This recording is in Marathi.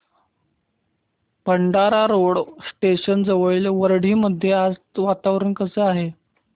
भंडारा रोड स्टेशन जवळील वरठी मध्ये आज वातावरण कसे आहे